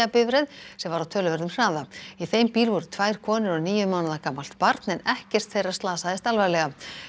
bifreið sem var á töluverðum hraða í þeim bíl voru tvær konur og níu mánaða gamalt barn en ekkert þeirra slasaðist alvarlega